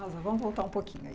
Vamos voltar um pouquinho aí.